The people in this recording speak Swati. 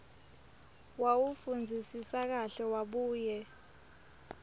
wawufundzisisa kahle wabuye